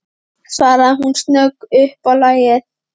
svaraði hún snögg upp á lagið.